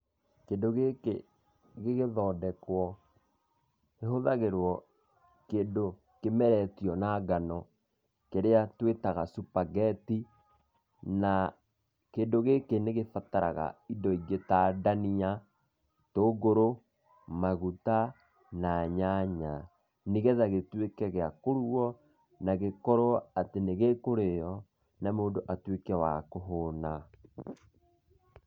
Kĩndũ gĩkĩ gĩgĩthondekwo kĩhũthagĩrwo kĩndũ kĩmeretio na ngano kĩrĩa twĩtaga spaghetti. Na kĩndũ gĩkĩ nĩ gĩbataraga indo ingĩ ta ndania, itũngũrũ maguta na nyanya, nĩgetha gĩtuĩke gĩa kũrugwo na gĩtuĩke atĩ nĩ gĩkũrĩo na mũndũ atuĩke wa kũhũna.